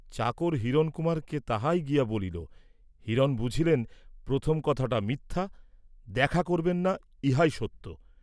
চাকর হিরণকুমারকে তাহাই গিয়া বলিল; হিরণ বুঝিলেন প্রথম কথাটা মিথ্যা, দেখা করবেন না ইহাই সত্য।